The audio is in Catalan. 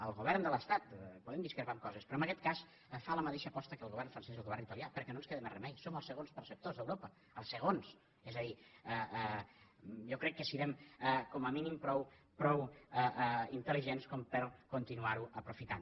el govern de l’estat podem discrepar en coses però en aguest cas fa la mateixa aposta que el govern francès i el govern italià perquè no ens queda més remei som els segons perceptors d’europa els segons és a dir jo crec que serem com a mínim prou intel·ligents per continuar ho aprofitant